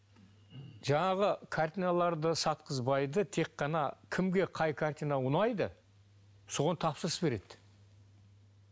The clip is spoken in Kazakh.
жаңағы картиналарды сатқызбайды тек қана кімге қай картина ұнайды соған тапсырыс береді